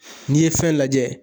n'i ye fɛn lajɛ